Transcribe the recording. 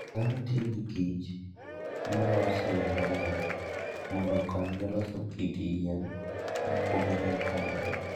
Dhano tiyo gi kich molos e yo mariek mondo okonygi loso kit yien mopogore opogore.